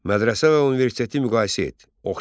Mədrəsə və universiteti müqayisə et.